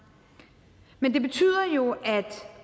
men det betyder jo at